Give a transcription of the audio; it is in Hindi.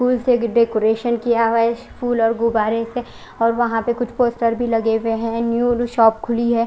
फूल से भी डेकोरेशन किया हुआ है फुल और गुबारे से और वहां पर कुछ पोस्टर भी लगे हुए है न्यू शॉप खुली है।